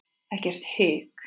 Ekkert hik.